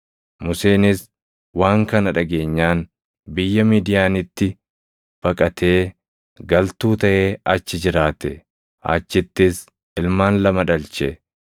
Museenis waan kana dhageenyaan biyya Midiyaanitti baqatee galtuu taʼee achi jiraate; achittis ilmaan lama dhalche.